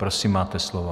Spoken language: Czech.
Prosím, máte slovo.